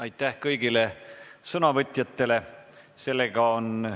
Aitäh kõigile sõnavõtjatele!